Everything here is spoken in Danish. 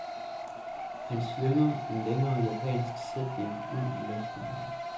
Han slynger en længere japansk sætning ud i luften.